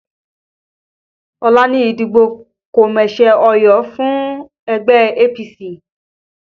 Ọ̀la ni ìdìbò kọ̀mẹsẹ̀-óyọ fún ẹgbẹ́ APC